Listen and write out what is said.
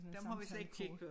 Dem har vi ikke set før